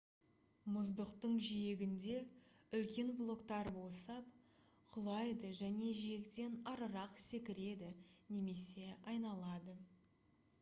мұздықтың жиегінде үлкен блоктар босап құлайды және жиектен арырақ секіреді немесе айналады